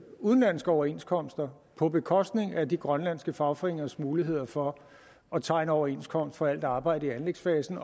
udenlandske overenskomster på bekostning af de grønlandske fagforeningers muligheder for at tegne overenskomst for alt arbejde i anlægsfasen